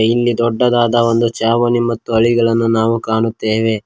ಇಲ್ಲಿ ದೊಡ್ಡದಾದ ಒಂದು ಚಾವಣಿ ಮತ್ತು ಹಳಿಗಳನ್ನು ನಾವು ಕಾಣುತ್ತೆವೆ.